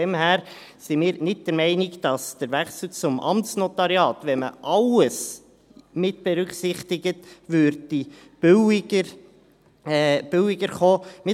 Daher sind wir nicht der Meinung, dass der Wechsel zum Amtsnotariat, wenn man alles mitberücksichtigt, billiger kommen würde.